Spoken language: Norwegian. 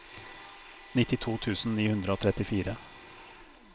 nittito tusen ni hundre og trettifire